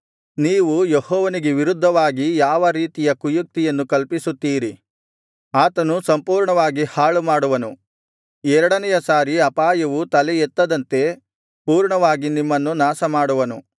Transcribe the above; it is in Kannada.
ನೀವು ಯೆಹೋವನಿಗೆ ವಿರುದ್ಧವಾಗಿ ಯಾವರೀತಿಯ ಕುಯುಕ್ತಿಯನ್ನು ಕಲ್ಪಿಸುತ್ತೀರಿ ಆತನು ಸಂಪೂರ್ಣವಾಗಿ ಹಾಳುಮಾಡುವನು ಎರಡನೆಯ ಸಾರಿ ಅಪಾಯವು ತಲೆ ಎತ್ತದಂತೆ ಪೂರ್ಣವಾಗಿ ನಿಮ್ಮನ್ನು ನಾಶಮಾಡುವನು